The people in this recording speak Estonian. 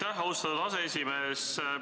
Aitäh, austatud aseesimees!